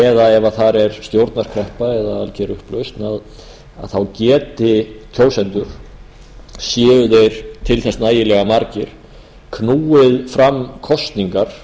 eða ef þar er stjórnarkreppa eða algjör upplausn að þá geti kjósendur séu þeir til þess nægilega margir knúið fara kosningar